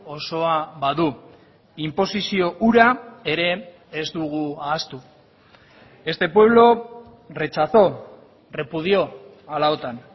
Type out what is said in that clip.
osoa badu inposizio hura ere ez dugu ahaztu este pueblo rechazó repudió a la otan